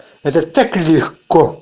это так легко